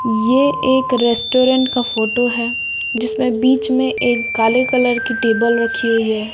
ये एक रेस्टोरेंट का फोटो है जिसमें बीच में एक काले कलर की टेबल रखी हुई है।